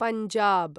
Punjab